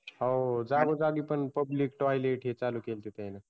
हो जागोजागी पण PUBLIC TIOLET हे ते पण चालू केलते तैना